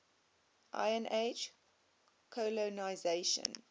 iron age colonisation